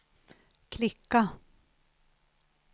klicka